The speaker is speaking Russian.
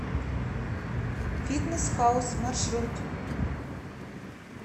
фитнес хаус маршрут